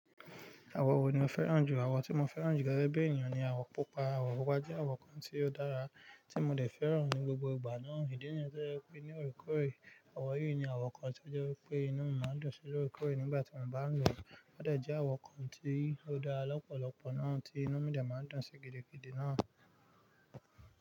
Àwo wo ni o fẹ́ràn jù? Àwọ̀ tí mo fẹ́ràn jù gẹ́gẹ́ bí ènìyàn ni àwọ̀ pupa. Àwọ̀ pupa jẹ́ àwọ̀ kan tí ó dára tí mo de fẹ́ràn ní gbogbo ìgbà náà. Ìdí nìyẹn to jẹ́ wípé ní orekoorẹ̀, àwọ̀ yìí ni àwọ̀ kan tí ó jẹ́ wípé inú mi máa ń dun sí ni orekoore nígbà tí mo bá ń lọ. Ó de je àwọ̀ kan tí ó dára lọ́pọ̀lọpọ̀ náà tí inú mi de máa ń dùn sí gidigidi náà.